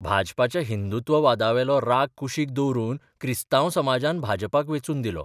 भाजपाच्या हिंदुत्ववादावेलो राग कुशीक दवरून क्रिस्तांव समाजान भाजपाक वेंचून दिलो.